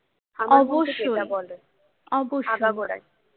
অবশ্যই অবশ্যই